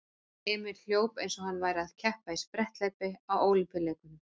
Emil hljóp eins og hann væri að keppa í spretthlaupi á Ólympíuleikunum.